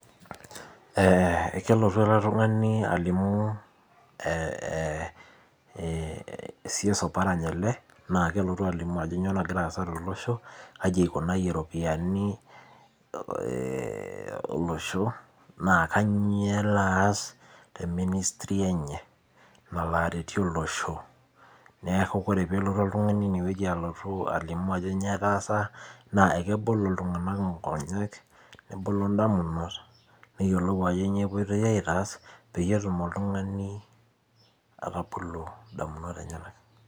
Kelotu ele tungani alimu, Cs oparanya ele, naa kelotu alimu ajo kainyoo nagira aasa tolosho, kaji eikunayie eikunayie ropiyiani olosho ,naa kainyo elo aas te ministry enye nalo aretie olosho. Neeku ore pee elotu oltungani ine weji alotu alimu ajo nyoo etaasa, naa kebol iltunganak nkonyek, nebolo ndamunot neyiolou ajo nyoo epoitoi aitaas peyie etum oltungani atabolo ndamunot enyenak.